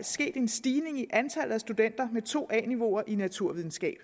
sket en stigning i antal studenter med to a niveau fag i naturvidenskab